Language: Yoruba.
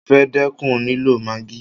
Mo fẹ́ dẹ́kun lílọ maagí.